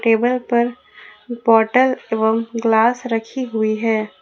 Table पर bottle एवं glass रखी हुई हैं।